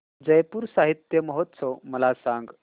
जयपुर साहित्य महोत्सव मला सांग